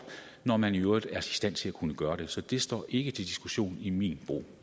når man i øvrigt er i stand til at kunne gøre det så det står ikke til diskussion i min